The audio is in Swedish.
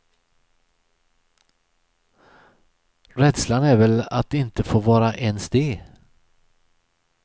Rädslan är väl att inte få vara ens det.